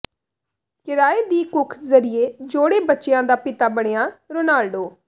ਕਿਰਾਏ ਦੀ ਕੁਖ ਜ਼ਰੀਏ ਜੌੜੇ ਬੱਚਿਆਂ ਦਾ ਪਿਤਾ ਬਣਿਆ ਰੋਨਾਲਡੋ